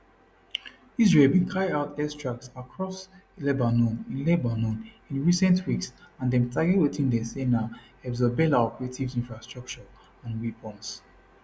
israel bin carry out air strikes across lebanon in lebanon in recent weeks and dem target wetin dem say na hezbollah operatives infrastructure and weapons